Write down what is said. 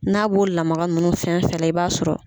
N'a b'o lagama nunnu fɛn fɛn nan i b'a sɔrɔ.